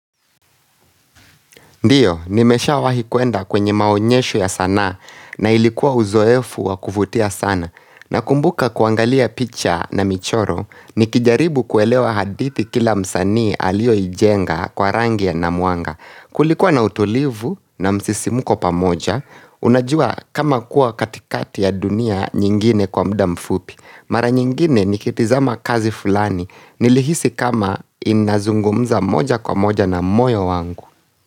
Ndiyo, nimesha wahi kwenda kwenye maonyesho ya sanaa na ilikuwa uzoefu wakuvutia sana. Na kumbuka kuangalia picha na michoro, nikijaribu kuelewa hadithi kila msanii alio ijenga kwa rangi na mwanga. Kulikuwa na utulivu na msisimuko pamoja, unajua kama kuwa katikati ya dunia nyingine kwa mda mfupi. Mara nyingine nikitizama kazi fulani, nilihisi kama inazungumza moja kwa moja na moyo wangu.